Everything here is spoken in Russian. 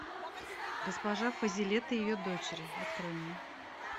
госпожа фазилет и ее дочери открой мне